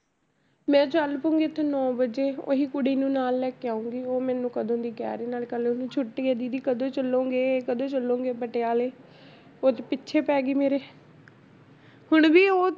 ਮੈਂ ਚੱਲ ਪਊਂਗੀ ਇੱਥੋਂ ਨੋਂ ਵਜੇ ਉਹੀ ਕੁੜੀ ਨੂੰ ਨਾਲ ਲੈ ਕੇ ਆਊਂਗੀ, ਉਹ ਮੇਨੂੰ ਕਦੋਂ ਦੀ ਕਹਿ ਰਹੀ ਨਾਲੇ ਕੱਲ੍ਹ ਉਹਨੂੰ ਛੁੱਟੀ ਹੈ ਦੀਦੀ ਕਦੋਂ ਚਲੋਂਗੇ, ਕਦੋਂ ਚਲੋਂਗੇ ਪਟਿਆਲੇ, ਉਹ ਤਾਂ ਪਿੱਛੇ ਪੈ ਗਈ ਮੇਰੇ ਹੁਣ ਵੀ ਉਹ